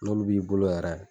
N'olu b'i bolo yɛrɛ.